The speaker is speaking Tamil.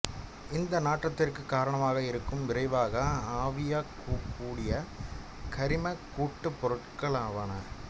இந்த நாற்றத்திற்கு காரணமாக இருக்கும் விரைவாக ஆவியாகக்கூடிய கரிமக் கூட்டுப்பொருட்களாவன